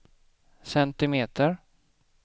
centimeter